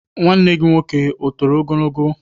Nwanne gị nwoke etoro ogologo?